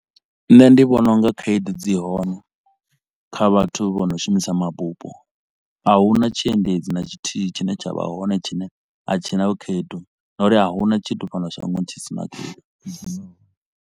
Nṋe ndi vhona u nga khaedu dzi hone kha vhathu vha no shumisa mabupo a huna tshiendedzi na tshithihi tshine tsha vha hone tshine a tshi na khaedu ngauri a huna tshithu fhano shangoni tshi si na khaedu